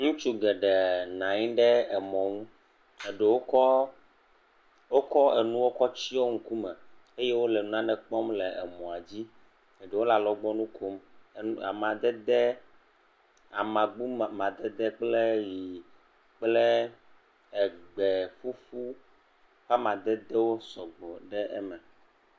Ŋutsu geɖee nanyi ɖe emɔ ŋu eɖewo kɔ nane tsio ŋkume eye wole nane kpɔm le emɔa dzi eɖewo le alɔgbɔnu kom. Amadede, amagbo m.., madede kple egbe ƒuƒu ƒe amadedewo sɔgbɔ ɖe eme.